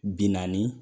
Binkanni